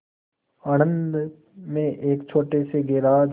आणंद में एक छोटे से गैराज